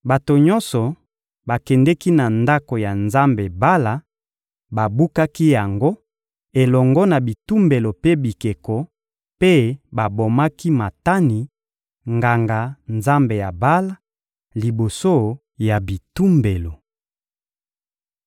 Bato nyonso bakendeki na ndako ya nzambe Bala, babukaki yango elongo na bitumbelo mpe bikeko, mpe babomaki Matani, nganga-nzambe ya Bala, liboso ya bitumbelo.